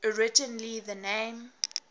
originally the name